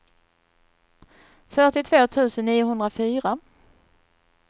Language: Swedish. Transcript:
fyrtiotvå tusen niohundrafyra